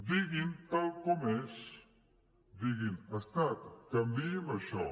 diguin ho tal com és diguin estat canviï’m això